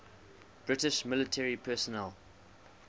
british military personnel